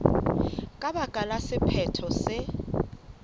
ka baka la sephetho se